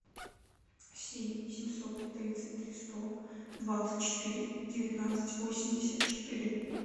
семь семьсот тридцать три сто двадцать четыре девятнадцать восемьдесят четыре